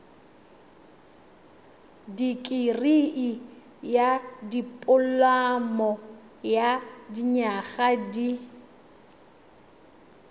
dikirii dipoloma ya dinyaga di